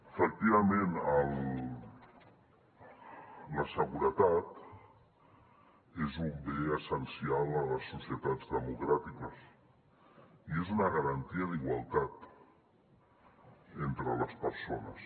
efectivament la seguretat és un bé essencial a les societats democràtiques i és una garantia d’igualtat entre les persones